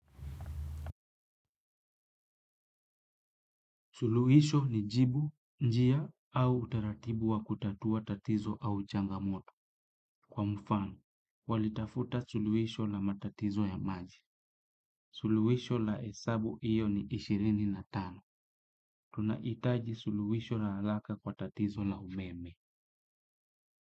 Suluhisho ni jibu, njia, au utaratibu wa kutatua tatizo au changamoto. Kwa mfano, walitafuta suluhisho la matatizo ya maji. Suluhisho la hesabu hiyo ni ishirini na tano. Tunahitaji suluhisho la alaka kwa tatizo la umeme.